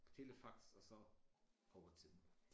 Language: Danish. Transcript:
Telefax og så går tiden